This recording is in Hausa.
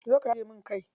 Zo ka taje min kai.